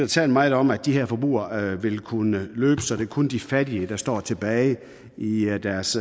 talt meget om at de her forbrugere vil kunne løbe så det kun er de fattige der står tilbage i deres